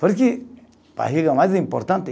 Porque barriga é mais importante.